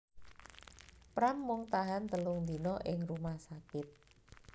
Pram mung tahan telung dina ing rumah sakit